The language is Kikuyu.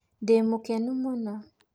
Ndĩmũkenu mũno